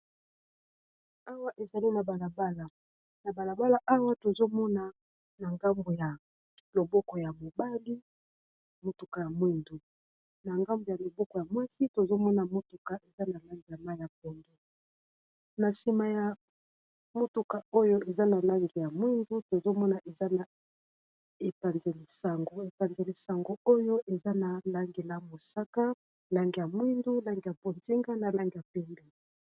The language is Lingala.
Awa ezali ana balabala awa tozomona na ngambu ya loboko ya mobali motuka ya mwindu na ngambu ya loboko ya mwasi tozomona motuka eza na lange ya maiya pondu, na nsima ya motuka oyo eza na lange ya mwindu, tozomona eza na epanze lisango oyo eza na lange ya mosaka, lange ya mwindu, lange ya potinga na lange ya penge.